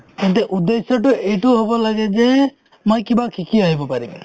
তেন্তে উদ্দেশ্য এইটো হ'ব লাগে যে মই কিবা শিকি আহিব পাৰিম